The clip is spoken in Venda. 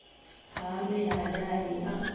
ha nwi ha dahi a